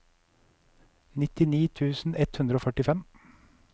nittini tusen ett hundre og førtifem